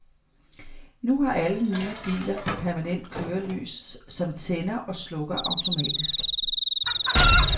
Nu har alle nye biler permanent kørelys, som tænder og slukker automatisk.